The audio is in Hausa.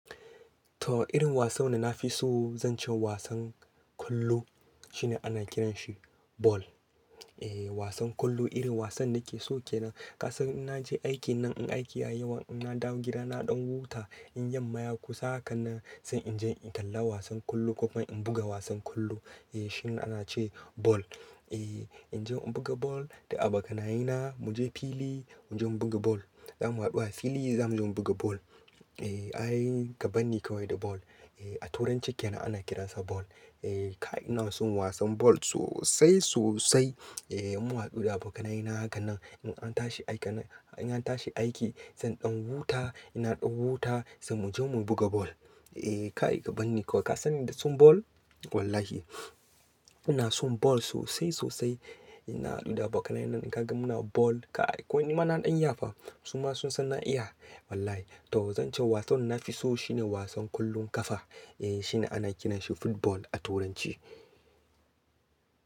To irin wasan da na fi so, zan ce wasan kwallo, shine ana kiran shi ball. Eh wasan kwallo irin wasan da ke so ke nan. Ka san in naje aikin nan, in aiki yayi yawa, in na dawo gida na ɗan huta, in yamma ya kusa haka nan, sai in je in kalla wasan kwallo, ko kuma in buga wasan kwallo. Eh shine ana ce ball. Eh in je in buga ball da abokanaye na, muje fili muje mu buga ball. Za mu haɗu a fili zamu je mu buga ball. Eh ai ga bani kawai da ball. Eh a turanci kenan ana kiransa ball. Eh, kai ina son wasan ball sosai sosai. Eh mun haɗu da abokanaye na hakan, nan in an tashi aiki nan, in an tashi aiki sai ɗan huta, inna ɗan huta sai muje mu buga ball. Eh, kai ka banni kawai, ka san ni da son ball wallahi. Ina son ball sosai sosai. Inna haɗu da abokanaye na in ka ga muna ball, kai ko ni ma na ɗan iya fa, suma sun san na iya wallahi. To zan ce wasan da na fi so shine wasan kullun kafa. Eh shine ana kiran shi football a turanci.